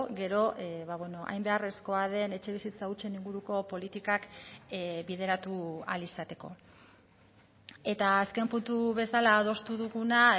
gero hain beharrezkoa den etxebizitza hutsen inguruko politikak bideratu ahal izateko eta azken puntu bezala adostu duguna